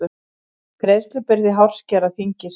Greiðslubyrði hárskera þyngist